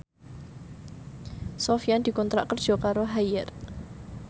Sofyan dikontrak kerja karo Haier